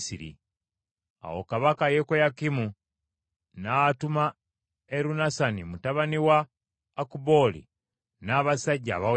Awo kabaka Yekoyakimu n’atuma Erunasani mutabani wa Akubooli n’abasajja abawerako,